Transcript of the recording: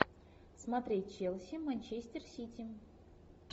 смотреть челси манчестер сити